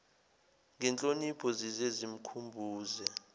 ngenhlonipho zize zimkhumbuze